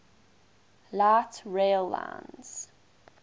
light rail lines